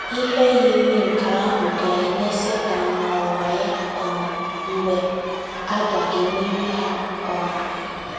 Ihe yiri nke ahụ ga - eme Setan na ụwa ya um mgbe a ga - emeri ha um.